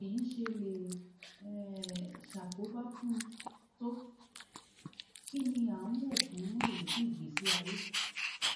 báwo lèyí ṣe lè um ṣàkóbá fún un tó kí ni a ń wò fún ìrètí ìgbésí ayé